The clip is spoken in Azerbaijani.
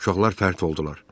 Uşaqlar fərt oldular.